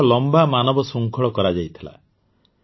ଗୋଆରେ ଏକ ଲମ୍ବା ମାନବ ଶୃଙ୍ଖଳ କରାଯାଇଥିଲା